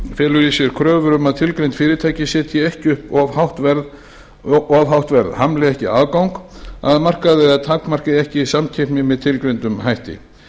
felur í sér kröfur um að tilgreind fyrirtæki setji ekki upp of hátt verð hamli ekki aðgangi að markaði eða takmarki ekki samkeppni með tilgreindum hætti